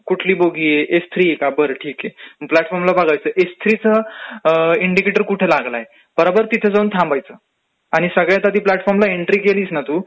कुठली बोगी आहे थ्री का बरं ठीक आहे, मग प्लॅचफॉर्मला बघायचं का बाबा थ्री चा नंबर कुठे लागलाय तर आपण तिथेचं जाऊन थांबायचं आणि सगळ्यात आधी प्लॅटफॉर्मला केलीस ना तू